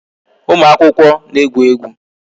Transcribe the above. Ụmụ akwụkwọ na-egwu egwu